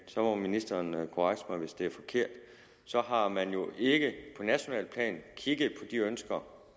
så må ministeren korrekse mig hvis det er forkert så har man jo ikke på nationalt plan kigget på de ønsker